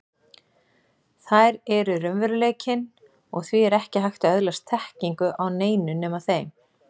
Þær eru raunveruleikinn, og því er ekki hægt að öðlast þekkingu á neinu nema þeim.